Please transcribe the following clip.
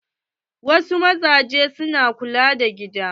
Wasu mazan na kula da gida.